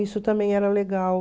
Isso também era legal.